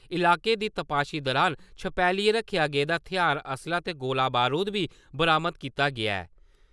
इलाके दी तपाशी दुरान छपैलियै रक्खेआ गेदा थेहार-असलाह् ते गोला-बरूद बी बरामद कीता गेआ ऐ।